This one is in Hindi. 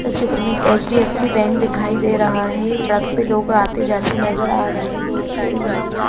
इस चित्र में एक एच_डी_एफ_सी बैंक दिखाई दे रहा है सड़क पे लोग आते जाते नजर आ रहे बहुत सारी गाड़ियां--